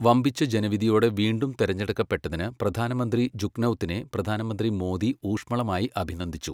വമ്പിച്ച ജനവിധിയോടെ വീണ്ടും തിരഞ്ഞെടുക്കപ്പെട്ടതിന് പ്രധാനമന്ത്രി ജുഗ്നൗത്തിനെ പ്രധാനമന്ത്രി മോദി ഊഷ്മളമായി അഭിനന്ദിച്ചു.